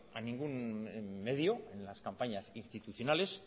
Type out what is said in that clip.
a ningún medio en las campañas institucionales